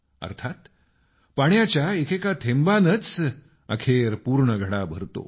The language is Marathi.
अर्थात पाण्याच्या एकेका थेंबानच अखेर पूर्ण घडा भरतो